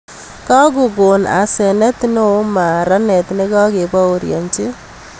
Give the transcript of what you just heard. kakokon asanet neo maranet nekakeborienji